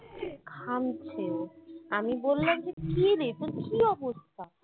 ঘামছে ও আমি বললাম যে কিরে তোর কি অবস্থা